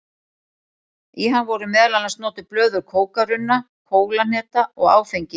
Í hann voru meðal annars notuð blöð úr kókarunna, kólahneta og áfengi.